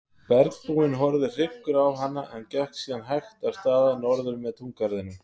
Bergbúinn horfði hryggur á hana en gekk síðan hægt af stað norður með túngarðinum.